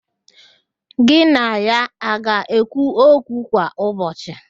Gị na ya a ga-ekwu okwu kwa ụbọchị?